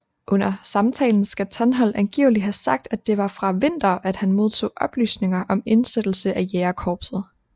Under samtalen skal Tantholdt angiveligt have sagt at det var fra Winther at han modtog oplysninger om indsættelse af jægerkorpset